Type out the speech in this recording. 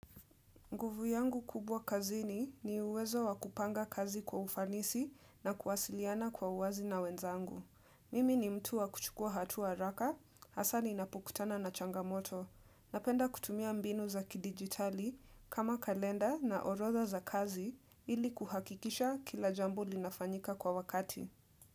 Nguvu yangu kubwa kazini ni uwezo wa kupanga kazi kwa ufanisi na kuwasiliana kwa uwazi na wenzangu. Mimi ni mtu wa kuchukua hatua haraka, hasa ninapokutana na changamoto. Napenda kutumia mbinu za kidigitali kama kalenda na orodha za kazi ili kuhakikisha kila jambo linafanyika kwa wakati.